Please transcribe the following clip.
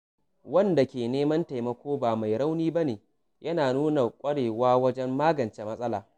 Wanda ke neman taimako ba mai rauni ba ne, yana nuna ƙwarewa wajen magance matsala.